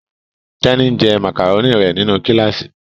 Teni, njé macaroni rẹ nínú kilasi.